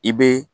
I bɛ